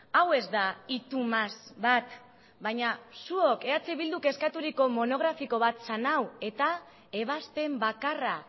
hau ez da y tú más bat baina zuok eh bilduk eskaturiko monografiko bat zen hau eta ebazpen bakarra